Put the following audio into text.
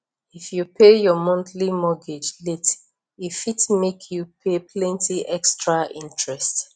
if you pay your monthly mortgage late e fit make you pay plenty extra interest